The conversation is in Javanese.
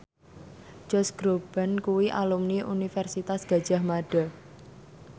Josh Groban kuwi alumni Universitas Gadjah Mada